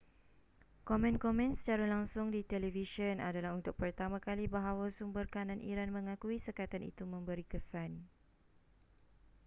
komen-komen secara langsung di televisyen adalah untuk pertama kali bahawa sumber kanan iran mengakui sekatan itu memberi kesan